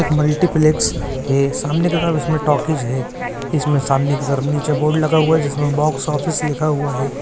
एक मल्टीप्लेक्स है सामने की तरफ उसमे टॉकीज़ है इसमें सामने की तरफ नीचे बोर्ड लगा हुआ है जिसमे बॉक्स ऑफिस लिखा हुआ हैं।